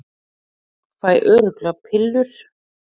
Fæ örugglega pillur